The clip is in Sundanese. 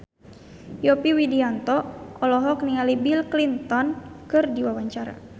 Yovie Widianto olohok ningali Bill Clinton keur diwawancara